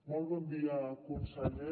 molt bon dia conseller